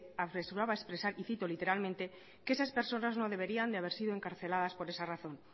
apresuraba a expresar y cito literalmente que esas personas no deberían de haber sido encarceladas por esa razón